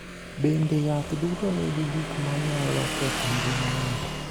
Bende, yath duto nigi gik ma nyalo ketho ngima ng’ato.